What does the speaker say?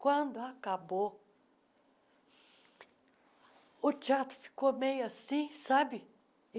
Quando acabou, o teatro ficou meio assim, sabe?